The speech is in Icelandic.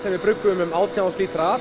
við bruggum um átján þúsund lítra